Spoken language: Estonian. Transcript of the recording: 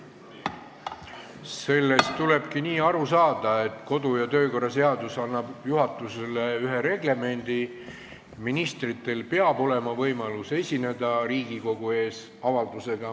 Sellest tulebki nii aru saada, et kodu- ja töökorra seadus annab juhatusele ühe reglemendi: ministril peab olema võimalus esineda Riigikogu ees avaldusega.